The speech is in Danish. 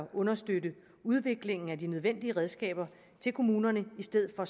understøtte udviklingen af de nødvendige redskaber til kommunerne i stedet for